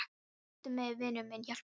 Styddu mig, vinur minn, hjálpaðu mér.